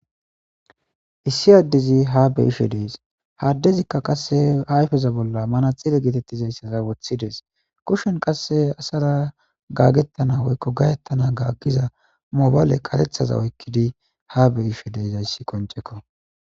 Issi adezi ha beyishe des, ha dezila qase ba ayfa bolla manaxire getetizaysaza wothides, kushen qase asara gaagetan awoykon gahetana maduza mabale karethaza oykid eqides